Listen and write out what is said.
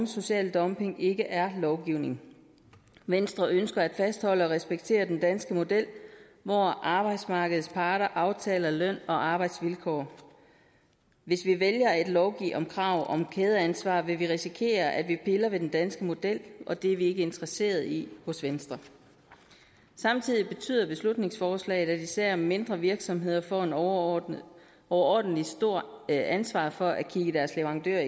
social dumping ikke er lovgivning venstre ønsker at fastholde og respektere den danske model hvor arbejdsmarkedets parter aftaler løn og arbejdsvilkår hvis vi vælger at lovgive om krav om kædeansvar vil vi risikere at vi piller ved den danske model og det er vi ikke interesseret i hos venstre samtidig betyder beslutningsforslaget at især mindre virksomheder får et overordentlig overordentlig stort ansvar for at kigge deres leverandører